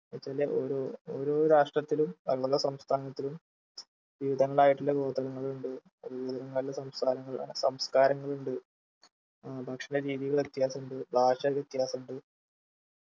എന്നു വെച്ചാൽ ഓരോ ഓരോ രാഷ്ട്രത്തിലും ഓരോ സംസ്ഥാനത്തിലും വിവിധങ്ങളായിട്ടുള്ള ഗോത്രങ്ങളുണ്ട് നല്ല സംസ്കാരങ്ങളു നല്ല സംസ്കാരങ്ങളുണ്ട് ഏർ ഭക്ഷണ രീതികൾ വ്യത്യാസമുണ്ട് ഭാഷ വ്യത്യാസമുണ്ട്